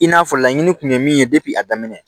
I n'a fɔ laɲini kun ye min ye a daminɛ